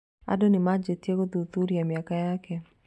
Andũ nĩmanjĩtie gũthuthuria mĩaka yake